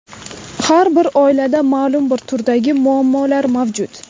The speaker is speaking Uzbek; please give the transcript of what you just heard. Har bir oilada ma’lum bir turdagi muammolar mavjud.